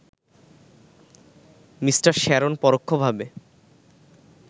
Me. Sharon পরোক্ষভাবে